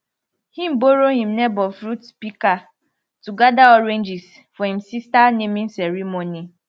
him borrow him neighbour fruit pika to gada oranges for him sista naming ceremony